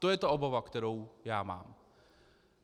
To je ta obava, kterou já mám.